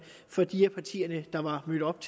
fra de partier der var mødt op